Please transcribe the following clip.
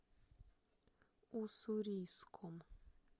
уссурийском